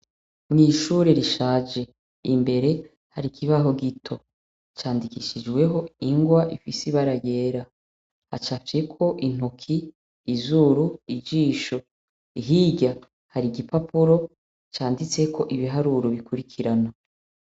Mw'ishure rishaje imbere hari ikibaho gito candikishijweho ingwa ifise ibarayera hacaveko intoki izuru ijisho ihigya hari igipapuro canditseko ibiharuru bikurikirana.